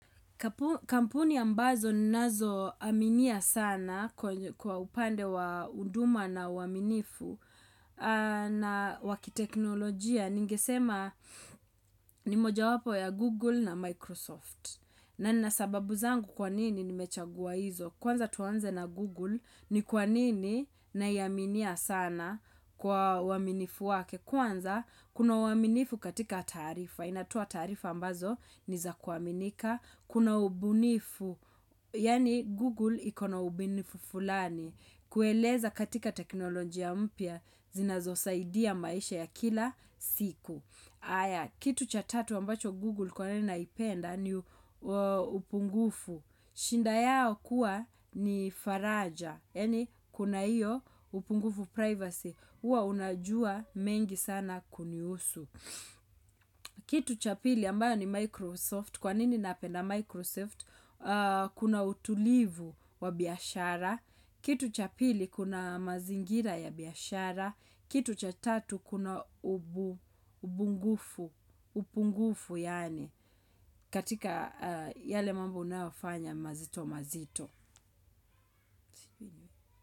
Kampuni ambazo ninazoaminia sana kwa upande wa huduma na uaminifu na wa kiteknolojia. Ningesema ni moja wapo ya Google na Microsoft. Na nina sababu zangu kwa nini nimechagua hizo. Kwanza tuanze na Google ni kwa nini naiaminia sana kwa uaminifu wake. Kwanza kuna uaminifu katika taarifa. Inatoa taarifa ambazo niza kuaminika. Kuna ubunifu, yaani Google iko na ubunifu fulani. Kueleza katika teknolojia mpya, zinazosaidia maisha ya kila siku. Aya, kitu cha tatu ambacho Google kwa nini naipenda ni upungufu. Shinda yao kuwa ni faraja, yaani kuna hiyo upungufu privacy. Huwa unajua mengi sana kunihusu. Kitu cha pili ambayo ni Microsoft. Kwa nini napenda Microsoft? Kuna utulivu wa biashara. Kitu cha pili kuna mazingira ya biyashara. Kitu cha tatu kuna ubungufu. Upungufu yaani katika yale mambo unayofanya mazito mazito.